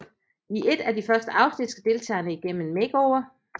I et af de første afsnit skal deltagerne igennem en makeover